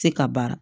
Se ka baara